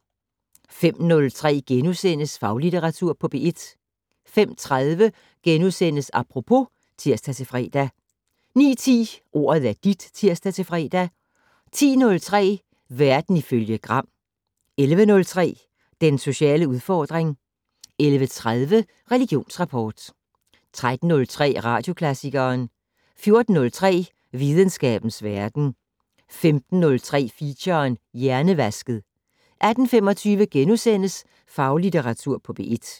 05:03: Faglitteratur på P1 * 05:30: Apropos *(tir-fre) 09:10: Ordet er dit (tir-fre) 10:03: Verden ifølge Gram 11:03: Den sociale udfordring 11:30: Religionsrapport 13:03: Radioklassikeren 14:03: Videnskabens Verden 15:03: Feature: Hjernevasket 18:25: Faglitteratur på P1 *